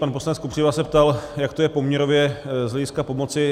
Pan poslanec Kopřiva se ptal, jak to je poměrově z hlediska pomoci.